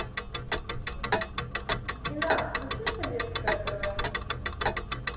афина включи советское тэ вэ